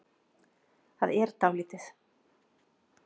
Það er dálítið.